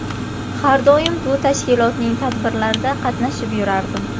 Har doim bu tashkilotning tadbirlarida qatnashib yurardim.